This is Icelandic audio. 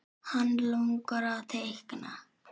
Hann langar að teikna.